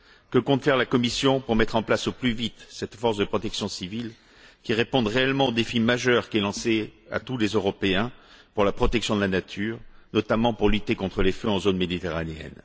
Que compte faire la Commission pour mettre en place au plus vite cette force de protection civile qui réponde réellement au défi majeur qui est lancé à tous les Européens pour la protection de la nature, notamment pour lutter contre les feux en zone méditerranéenne?